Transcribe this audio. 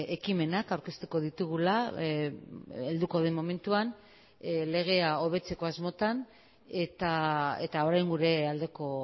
ekimenak aurkeztuko ditugula helduko den momentuan legea hobetzeko asmotan eta orain gure aldeko